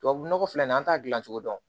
Tubabu nɔgɔ filɛ nin an t'a dilan cogo dɔn